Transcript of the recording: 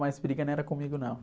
Mas briga não era comigo, não.